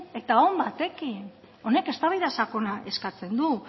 eta on batekin honek eztabaida sakona eskatzen du